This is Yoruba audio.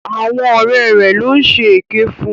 Àwọn ọ̀rẹ́ rẹ̀ ló ń ṣe èké fún.